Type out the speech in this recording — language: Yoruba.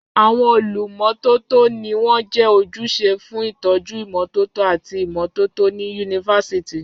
Àwọn olùmọ́tótó ni wọ́n jẹ́ ojúṣe fún ìtọ́jú ìmọ́tótó àti ìmọ́tótó ní Yunifásítì.